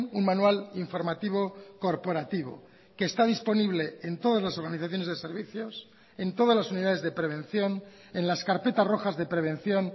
un manual informativo corporativo que está disponible en todas las organizaciones de servicios en todas las unidades de prevención en las carpetas rojas de prevención